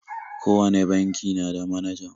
Kowane banki na da manaja.